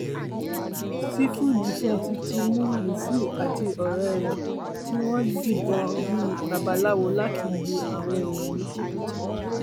sífù dífẹǹsì ti mú mùfú àti ọrẹ ẹ tí wọn ń dìbọn bí i babaláwo láti lu àwọn èèyàn ní jìbìtì